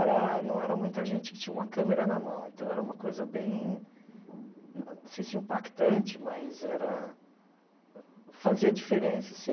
Era não era muita gente que tinha uma câmera na mão, então era uma coisa bem, não sei se impactante, mas era...fazia diferença você...